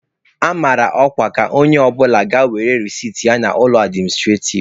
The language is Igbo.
A mara ọkwa ka onye ọbụla ga were resit ya n'ụlọ administrativ.